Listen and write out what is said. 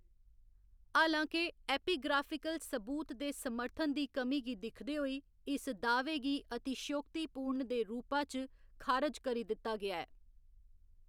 हालां के, एपिग्राफिकल सबूत दे समर्थन दी कमी गी दिखदे होई, इस दा‌‌ह्‌वे गी अतिशयोक्तिपूर्ण दे रूपा च खारज करी दित्ता गेआ ऐ।